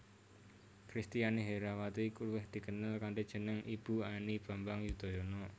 Kristiani Herrawati luwih dikenal kanthi jeneng Ibu Ani Bambang Yudhoyono